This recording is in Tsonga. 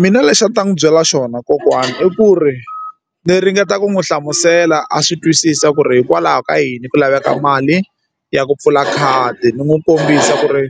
Mina lexi a ndzi ta n'wi byela xona kokwana i ku ri ndzi ringeta ku n'wi hlamusela a swi twisisa ku ri hikwalaho ka yini ku laveka mali ya ku pfula khadi ni n'wi kombisa ku ri